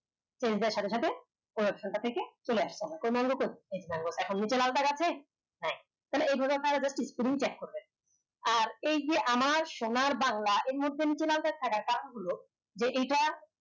change দেওয়ার সাথে সাথে থেকে চলে আসতে হয় কোন রকম এখন নিচে লাল দাগ আছে হ্যাঁ তাইলে এই ভাবে check করবে আর এই যে আমার সোনার বাংলা এই মুহুতে নিচে লাল দাগ থাকা হল যে এটা